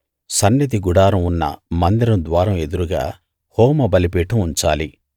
సన్నిధి గుడారం ఉన్న మందిరం ద్వారం ఎదురుగా హోమ బలిపీఠం ఉంచాలి